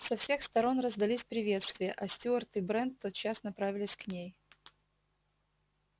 со всех сторон раздались приветствия а стюарт и брент тотчас направились к ней